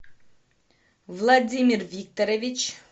владимир викторович